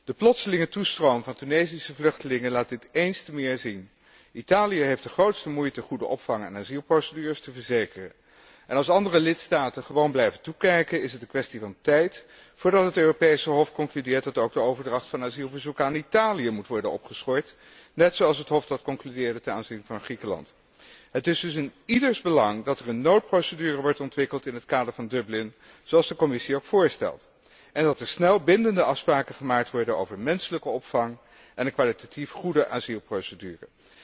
De plotselinge toestroom van Tunesische vluchtelingen laat dit eens te meer zien. Italië heeft de grootste moeite goede opvang en asielprocedures te verzekeren. En als andere lidstaten gewoon blijven toekijken is het een kwestie van tijd voordat het Europese Hof concludeert dat ook de overdracht van asielverzoeken aan Italië moet worden opgeschort, net zoals het Hof dat concludeerde ten aanzien van Griekenland. Het is dus in ieders belang dat er een noodprocedure wordt ontwikkeld in het kader van Dublin, zoals de Commissie ook voorstelt, en dat er snel bindende afspraken gemaakt worden over menselijke opvang en een kwalitatief goede asielprocedure.